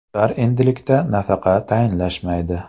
Ular endilikda nafaqa tayinlashmaydi.